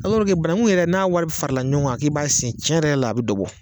Alɔrike banangu yɛrɛ n'a wari farala ɲɔgɔn kan k'i b'a sen cɛn yɛrɛ yɛrɛ la a be dɔ bɔ